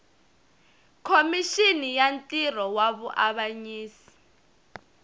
khomixini ya ntirho wa vuavanyisi